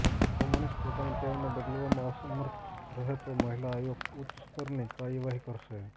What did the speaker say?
જો મનીષ પોતાની ટેવને બદલવામાં અસમર્થ રહે તો મહિલા આયોગ ઉચ્ચસ્તરની કાર્ય વાહી કરશે